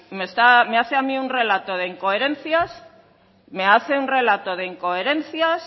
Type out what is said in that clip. me hace a mí un relato de incoherencias me hace un relato de incoherencias